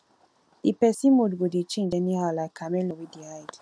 di pesin mood go dey change anyhow like chameleon wey dey hide